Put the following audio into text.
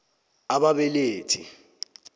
a b ababelethi